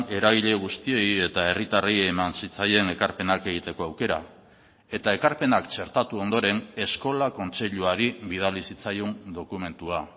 eragile guztiei eta herritarrei eman zitzaien ekarpenak egiteko aukera eta ekarpenak txertatu ondoren eskola kontseiluari bidali zitzaion dokumentua